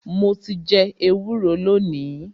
Mo ti jẹ ẹwúro lónìí.